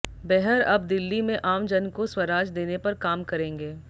बेहर अब दिल्ली में आम जन को स्वराज देने पर काम करेंगे